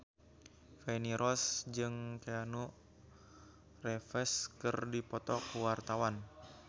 Feni Rose jeung Keanu Reeves keur dipoto ku wartawan